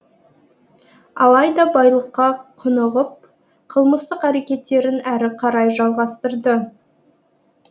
алайда байлыққа құнығып қылмыстық әрекеттерін әрі қарай жалғастырды